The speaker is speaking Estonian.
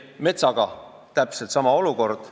Metsaga on täpselt sama olukord.